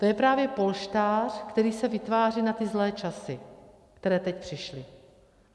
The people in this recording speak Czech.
To je právě polštář, který se vytváří na ty zlé časy, které teď přišly.